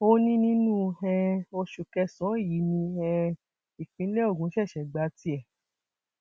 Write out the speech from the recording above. ó ní nínú um oṣù kẹsànán yìí ni um ìpínlẹ ogun ṣẹṣẹ gba tiẹ